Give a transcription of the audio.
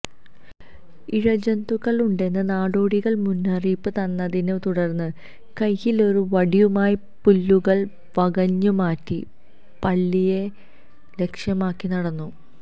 ഇഴ ജന്തുക്കളുണ്ടെന്ന് നാടോടികള് മുന്നറിയിപ്പ് തന്നതിനെ തുടര്ന്ന് കയ്യിലൊരു വടിയുമായി പുല്ലുകള് വകഞ്ഞ് മാറ്റി പള്ളിയെ ലക്ഷ്യമാക്കി നടന്നു